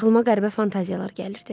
Axlıma qəribə fantaziyalar gəlirdi.